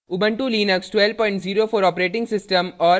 * ubuntu Linux 1204 operating system और